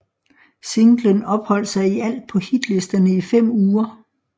Singlen opholdt sig i alt på hitlisterne i fem uger